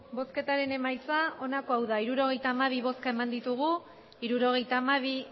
emandako botoak hirurogeita hamabi bai hirurogeita hamabi